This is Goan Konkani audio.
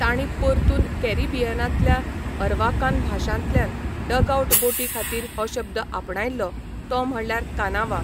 तांणी परतून कॅरिबियनांतल्या अरवाकान भाशांतल्यान डगआउट बोटी खातीर हो शब्द आपणायल्लो तो म्हणल्यार कानावा.